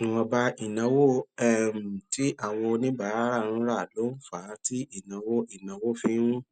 ìwònba ìnáwó um tí àwọn oníbàárà ń ra ló ń fà á tí ìnáwó ìnáwó fi ń